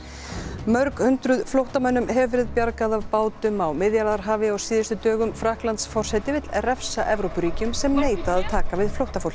mörg hundruð flóttamönnum hefur verið bjargað af bátum á Miðjarðarhafi á síðustu dögum Frakklandsforseti vill refsa Evrópuríkjum sem neita að taka við flóttafólki